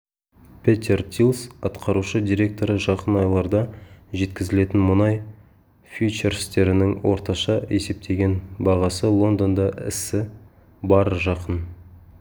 петер тильс атқарушы директоры жақын айларда жеткізілетін мұнай фьючерстерінің орташа есептеген бағасы лондонда ісі барр жақын